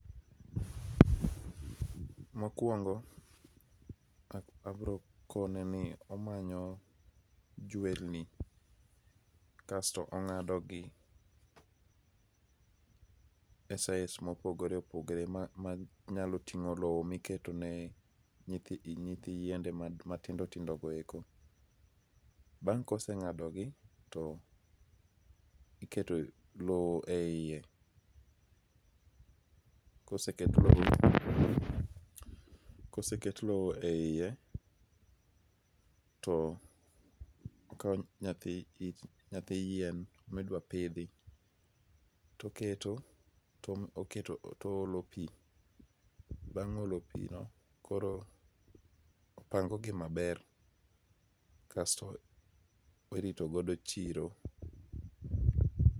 Mokuongo abiro kone ni omanyo juelni, kasto ong'ado gi e size mopogore opogore manyalo ting'o lowo miketo ni nyithi yiende matindo tindo goeko. Bang' kose ng'ado gi to iketo lowo eiye. Koseket lowo koseket lowo eiye to ikawo nyathi yien midwa pidhi to oketo to oolo pi. Bang' olo pino koro opango gi maber basto irito godo chiro.